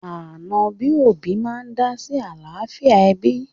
Ànọ́ bí òbí máa ń dá sí àlàáfíà ẹbí